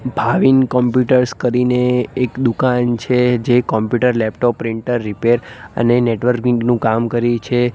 Bhavin computers કરીને એક દુકાન છે જે કોમ્પ્યુટર લેપટોપ પ્રિન્ટર રીપેર અને નેટવર્કિંગ નું કામ કરી છે.